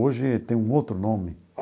Hoje tem um outro nome.